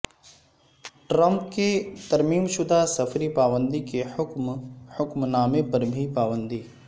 Trump کے ترمیم شدہ سفری پابندی کے حکم نامے پر بھی پابندی